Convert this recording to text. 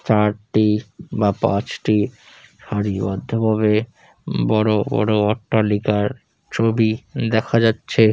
চারটি বা পাঁচটি সারি বদ্ধ ভাবে বড়ো বড়ো অট্টালিকার ছবি দেখা যাচ্ছে।